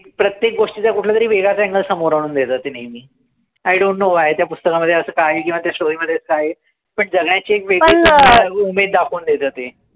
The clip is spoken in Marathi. प्रत्येक गोष्टीचा कुठलातरी वेगळाच angle समोर आणून देता ते नेहमी. I don't know why त्या पुस्तकामध्ये असं काय आहे किंवा त्या story मध्ये असं काय आहे. पणजगायची एक वेगळीच उमेद दाखवून देतं ते.